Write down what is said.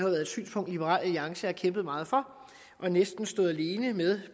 været et synspunkt liberal alliance har kæmpet meget for og næsten stod alene med